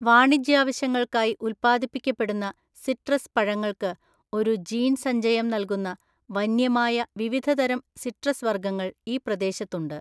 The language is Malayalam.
വാണിജ്യാവശ്യങ്ങൾക്കായി ഉൽപ്പാദിപ്പിക്കപ്പെടുന്ന സിട്രസ് പഴങ്ങൾക്ക് ഒരു ജീൻസഞ്ചയം നൽകുന്ന, വന്യമായ വിവിധതരം സിട്രസ് വർഗ്ഗങ്ങൾ ഈ പ്രദേശത്തുണ്ട്.